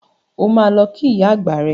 O máa lọ kí ìyá àgbà rẹ.